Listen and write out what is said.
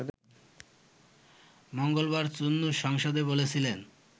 মঙ্গলবার চুন্নু সংসদে বলেছিলেন